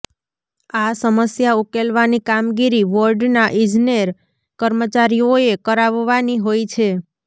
આ સમસ્યા ઉકેલવાની કામગીરી વોર્ડનાં ઇજનેર કર્મચારીઓએ કરાવવાની હોય છે